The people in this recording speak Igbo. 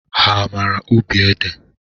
Ha amara ubi ede?